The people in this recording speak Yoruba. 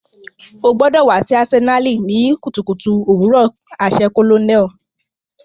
O gbọdọ wa si Asenali ni kutukutu owurọ aṣẹ colonel.